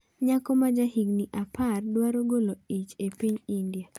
Nyako ma ja higni apar dwaro golo ich e piny India